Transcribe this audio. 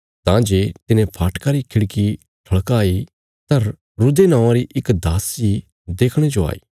तां जे तिने फाटका री खिड़की ठल़काई तां रूदे नौआं री इक दासी देखणे जो आई